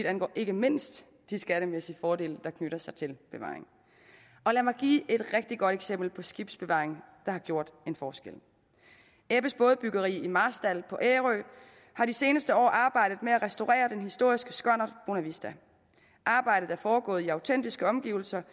angår ikke mindst de skattemæssige fordele der knytter sig til bevaring lad mig give et rigtig godt eksempel på skibsbevaring der har gjort en forskel ebbes bådebyggeri i marstal på ærø har de seneste år arbejdet med at restaurere den historiske skonnert bonavista arbejdet er foregået i autentiske omgivelser